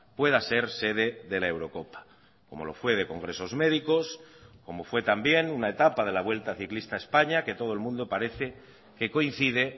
pueda ser sede de la eurocopa como lo fue de congresos médicos como fue también una etapa de la vuelta ciclista a españa que todo el mundo parece que coincide